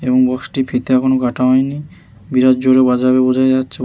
এবং বক্স টির ফিতে এখনো কাটা হয়নি বিরাট জোরে বাজাবে বোঝাই যাচ্ছ--